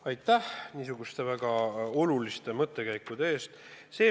Aitäh niisuguste väga oluliste mõttekäikude eest!